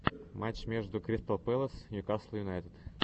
матч между кристал пэлас ньюкасл юнайтед